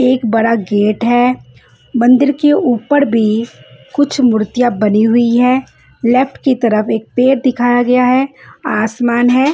एक बड़ा गेट है मंदिर के ऊपर भी कुछ मूर्तियाँ बनी हुई है लेफ्ट की तरफ एक पेड़ दिखाया गया है आसमान है --